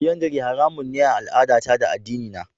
Folyandary haramun ne a al'adata da addinina.